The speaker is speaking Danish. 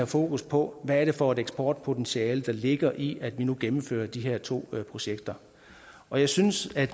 fokus på hvad er det for et eksportpotentiale der ligger i at vi nu gennemfører de her to projekter og jeg synes